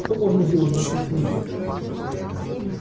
что можно сделать за шесть месяцев